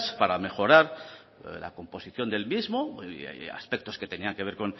para mejorar la composición del mismo y aspectos que tenían que ver